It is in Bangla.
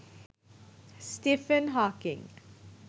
Stephen Hawking